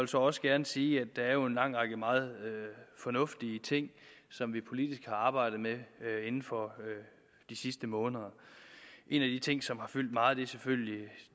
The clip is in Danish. så også gerne sige at der jo er en lang række meget fornuftige ting som vi politisk har arbejdet med inden for de sidste måneder en af de ting som har fyldt meget er selvfølgelig